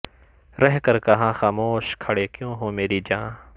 رہ کر کہا خموش کھڑے کیوں ہو میری جاں